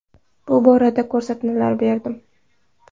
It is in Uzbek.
Bu borada ko‘rsatmalar berdim.